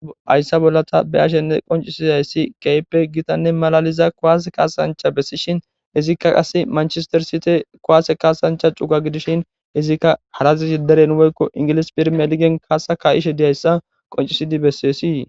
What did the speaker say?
Hayissa bolla ta be ashenne qoncisidayssi keype gitanne malaliza koase kaasancha bessishin izikka qase manchestersite kowaase kaasancha cuga gidishin izikka harazishi deren woyikko ingilis pirmeligen kaasa ka'ishe diyayssa qoncisidi bessesii